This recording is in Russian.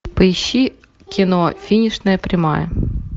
поищи кино финишная прямая